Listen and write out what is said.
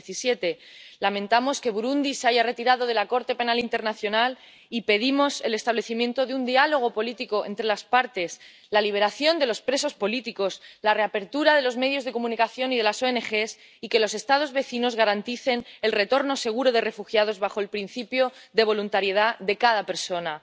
2017. Lamentamos que Burundi se haya retirado de la Corte Penal Internacional y pedimos el establecimiento de un diálogo político entre las partes, la liberación de los presos políticos, la reapertura de los medios de comunicación y de las oenegés y que los Estados vecinos garanticen el retorno seguro de refugiados bajo el principio de voluntariedad de cada persona.